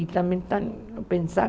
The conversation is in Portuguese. E também pensar.